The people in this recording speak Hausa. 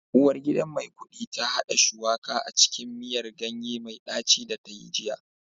Uwargidan Maikudi ta hada Shuwaka a cikin miyar ganye mai daci da ta yi jiya